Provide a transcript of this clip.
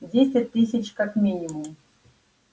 десять тысяч как минимум